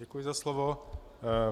Děkuji za slovo.